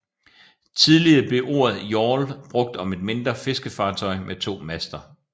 Tidligere blev ordet yawl brugt om et mindre fiskefartøj med to master